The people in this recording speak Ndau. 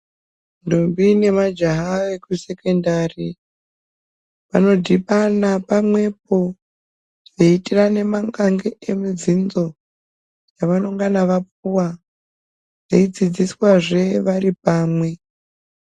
Ntombi nemajaha ekusekondari vanodhibana pamwepo veiitirane mangange emubvunzo yavanongana vapiwa veidzidziswazvee vari pamwe.